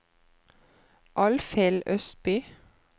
Alfhild Østby